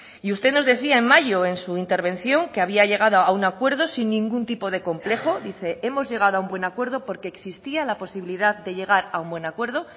y usted nos decía en mayo en su intervención que había llegado a un acuerdo sin ningún tipo de complejo dice hemos llegado a un buen acuerdo porque existía la posibilidad de llegar a un buen acuerdo